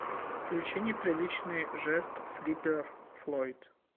включи неприличный жест флиппер флойд